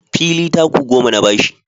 Fili taku goma na ba shi